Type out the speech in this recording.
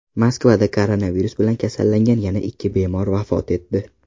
Moskvada koronavirus bilan kasallangan yana ikki bemor vafot etdi.